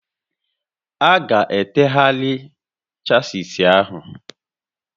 A ga-etegharị chasis ahụ